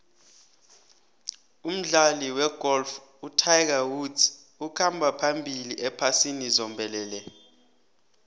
umdlali wegolf utiger woods ukhamba phambili ephasini zombelele